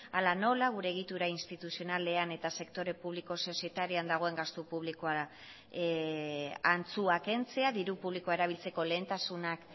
hala nola gure egitura instituzionalean eta sektore publiko sozietarioan dagoen gastu publikoa antzua kentzea diru publikoa erabiltzeko lehentasunak